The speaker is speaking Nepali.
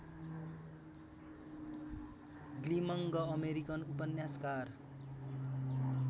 ग्लिमङ्ग अमेरिकन उपन्यासकार